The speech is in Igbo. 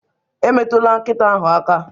Emetụla nkịta ahụ aka!